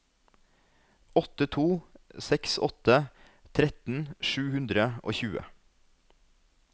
åtte to seks åtte tretten sju hundre og tjue